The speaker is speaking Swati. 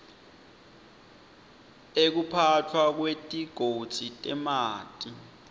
ekuphatfwa kwetigodzi temanti